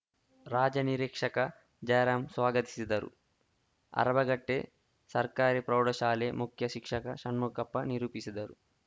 ರಾಜ ನಿರೀಕ್ಷಕ ಜಯರಾಮ್‌ ಸ್ವಾಗತಿಸಿದರು ಅರಬಗಟ್ಟೆ ಸರ್ಕಾರಿ ಪ್ರೌಢ ಶಾಲೆ ಮುಖ್ಯ ಶಿಕ್ಷಕ ಷಣ್ಮುಖಪ್ಪ ನಿರೂಪಿಸಿದರು